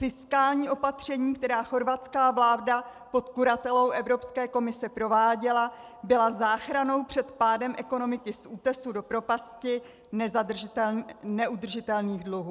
Fiskální opatření, která chorvatská vláda pod kuratelou Evropské komise prováděla, byla záchranou před pádem ekonomiky z útesu do propasti neudržitelných dluhů.